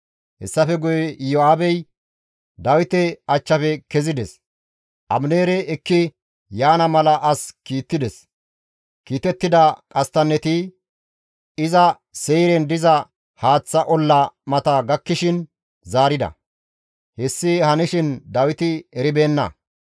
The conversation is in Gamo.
Hessafe guye Iyo7aabey Dawite achchafe kezides; Abineere ekki yaana mala as kiittides; kiitettida qasttanneti iza Seyren diza haaththa olla mata gakkishin zaarida; hessi hanishin Dawiti eribeenna.